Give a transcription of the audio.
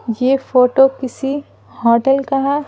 ये फोटो किसी होटल का है।